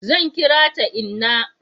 zan kira ta inna